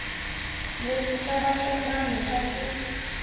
leswi swa vahlengani swa ku